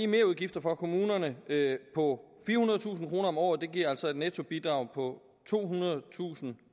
merudgifter for kommunerne på firehundredetusind kroner om året og det giver altså et nettobidrag på tohundredetusind